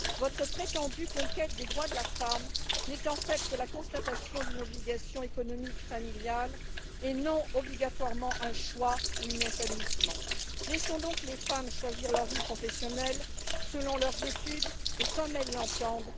Votre prétendue conquête des droits de la femme n'est en fait que la constatation d'une obligation économique et familiale, non obligatoirement un choix ou un épanouissement. Laissons donc les femmes choisir leur vie professionnelle, en fonction de leurs études et comme elles l'entendent